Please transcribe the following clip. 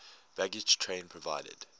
baggage train provided